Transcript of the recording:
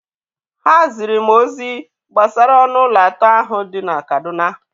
Ha ziri m ozi gbasara ọnụ ụlọ atọ ahụ dị na Kaduna.